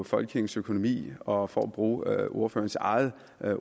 folkekirkens økonomi og for at bruge ordførerens eget